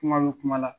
Kuma bɛ kuma la